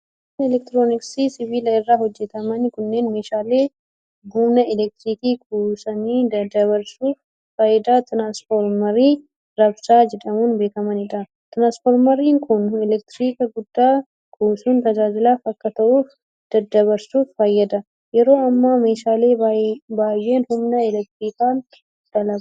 Meeshaaleen elektirooniksii sibiila irraa hojjataman kunneen, meeshaalee humna elektirikii kuusanii daddabarsuuf fayyadan tiraansfoormarii raabsaa jedhamuun beekamanii dha. Tiraansfoormarri humna elektirikaa guddaa kuusuun tajaajilaaf akka ta'uuf daddabarsuuf fayyada. Yeroo ammaa ,meeshaalee baay'een humna elektirikaan dalagu.